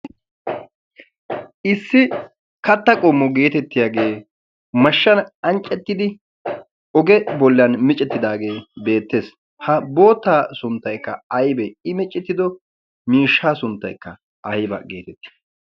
issi katta qommo geetettiyaagee mashshan anccettidi oge bollan micettidaagee beettees. ha boottaa sunttaikka aibee i miccettido miishsha sunttaikka aiba' geetettii?